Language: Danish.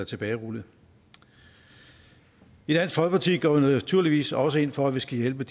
tilbagerullet i dansk folkeparti går vi naturligvis også ind for at vi skal hjælpe